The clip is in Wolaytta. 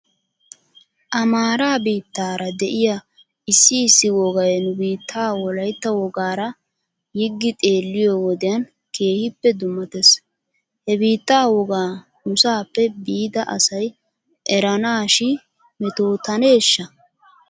Amaara biittara de'iyaa issi issi wogay nu biittaa wolaytta wogaara yiggi xeelliyoo wodiyan keehippe dummates. He biitta wogaa nusaaappe biida asay eranaashi metooteneshsha?